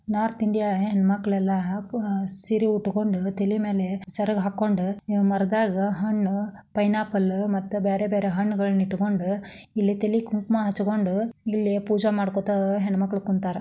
North India ಹೆಣ್ಣು ಮಕ್ಕಳೆಲ್ಲ ಸೀರೆ ಉಟ್ಟಕೊಂಡು ತಲೆ ಮೇಲೆ ಸೆರಗ್ ಹಾಕೊಂಡು ಮರದಾಗ ಹಣ್ಣು ಪೈನಾಪಲ್ ಮತ್ತ ಬೇರೆ ಬೇರೆ ಹಣ್ಣುಗಳನ್ನು ಇಟ್ಟುಕೊಂಡು ಇಲ್ಲಿ ತಲಿಗೆ ಕುಂಕಮಾ ಹಚ್ಚಕೊಂಡು ಇಲ್ಲಿ ಪೂಜೆ ಮಾಡ್ಕೋತಾ ಹೆಣ್ಣು ಮಕ್ಕಳು ಕುಂತಾರ.